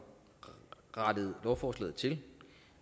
rettet lovforslaget til